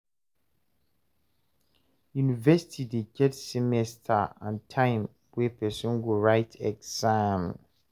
University dey get semesters and time wey person go write exam